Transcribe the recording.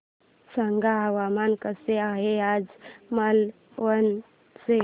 सांगा हवामान कसे आहे आज मालवण चे